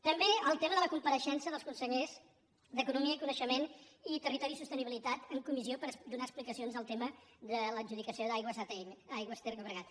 també el tema de la compareixença dels consellers d’economia i coneixement i territori i sostenibilitat en comissió per donar explicacions del tema de l’adjudicació d’aigües atll aigües ter llobregat